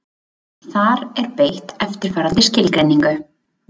Þar er beitt eftirfarandi skilgreiningu: